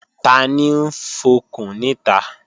Tani ń fọkùn níta?